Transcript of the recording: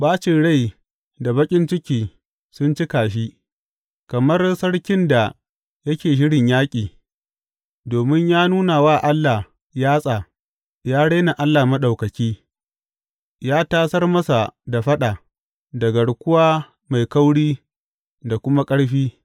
Ɓacin rai da baƙin ciki sun cika shi, kamar sarkin da yake shirin yaƙi, domin ya nuna wa Allah yatsa ya rena Allah Maɗaukaki, ya tasar masa da faɗa da garkuwa mai kauri da kuma ƙarfi.